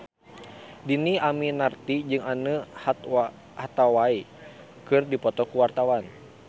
Dhini Aminarti jeung Anne Hathaway keur dipoto ku wartawan